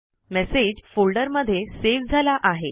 message folder मध्ये save झाला आहे